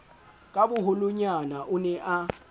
ka boholonyana o ne a